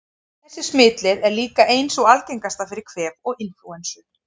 Þessi smitleið er líka ein sú algengasta fyrir kvef og inflúensu.